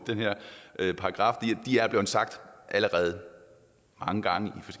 den her paragraf de er blevet sagt allerede mange gange